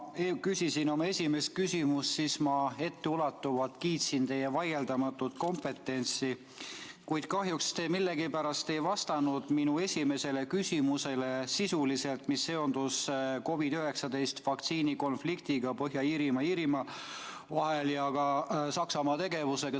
Kui ma küsisin oma esimest küsimust, siis ma etteulatuvalt kiitsin teie vaieldamatut kompetentsust, kuid kahjuks te millegipärast ei vastanud sisuliselt minu esimesele küsimusele, mis oli seotud COVID-19 vaktsiini konfliktiga Põhja-Iirimaa ja Iirimaa vahel ja ka Saksamaa tegevusega.